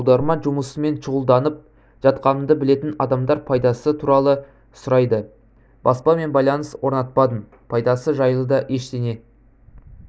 аударма жұмысымен шұғылданып жатқанымды білетін адамдар пайдасы туралы сұрайды баспамен байланыс орнатпадым пайдасы жайлы да ештеңе